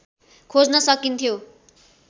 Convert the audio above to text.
खोज्न सकिन्थ्यो